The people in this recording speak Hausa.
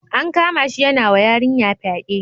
An kamashi yanawa yarinya fyaɗe.